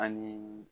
Ani